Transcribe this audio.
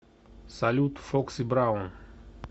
салют фокси браун